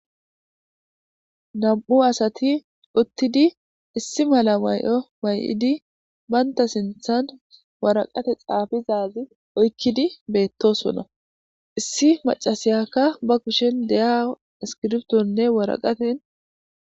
Nam'u asati uttidi issi mala may'o may'idi banta sinthan waraqate xaafiza wazi oykidi beetosona issi maccasiyaka ba kushen de'iya iskriptonne waraqaten.